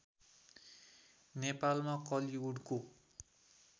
नेपालमा कलिउडको